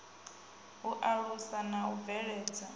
u alusa na u bveledza